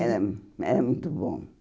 Era hum era muito bom.